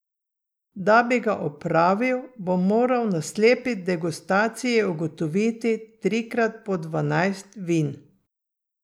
Da bi ga opravil, bom moral na slepi degustaciji ugotoviti trikrat po dvanajst vin.